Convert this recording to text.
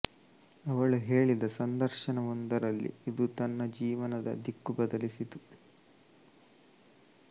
ಅವಳು ಹೇಳಿದ ಸಂದರ್ಶನವೊಂದರಲ್ಲಿ ಇದು ತನ್ನ ಜೀವನದ ದಿಕ್ಕು ಬದಲಿಸಿತು